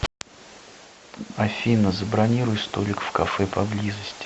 афина забронируй столик в кафе по близости